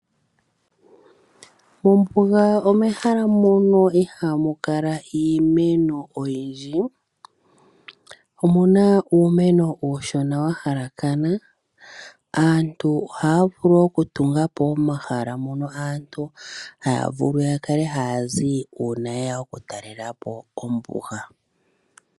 Mombuga omehala muno ihamu kala iimeno oyindji. Omuna uumeno uushona wahalakana. Aantu oha ya vulu okutunga po omahala mono aantu ha ya vulu ya kale ha ya zi uuna yeya okutalela po ombuga.